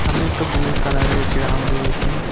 সামনে একটা blue colour -এর গ্রাউন্ড রয়েছে।